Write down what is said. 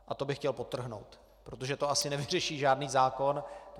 A to bych chtěl podtrhnout, protože to asi nevyřeší žádný zákon.